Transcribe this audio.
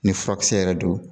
Ni furakisɛ yɛrɛ don,